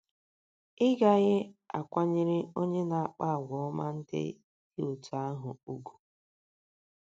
Ị̀ gaghị akwanyere onye na - akpa àgwà ọma ndị dị otú ahụ ùgwù?